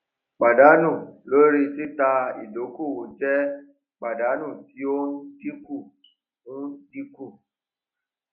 pàdánù lórí títà ìdókòwò jẹ pàdánù tí ó ń dínkù ń dínkù